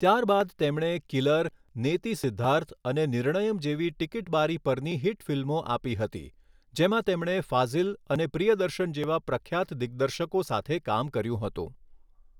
ત્યારબાદ તેમણે 'કિલર', 'નેતી સિદ્ધાર્થ' અને 'નિર્ણયમ' જેવી ટિકીટ બારી પરની હિટ ફિલ્મો આપી હતી, જેમાં તેમણે ફાઝિલ અને પ્રિયદર્શન જેવા પ્રખ્યાત દિગ્દર્શકો સાથે કામ કર્યું હતું.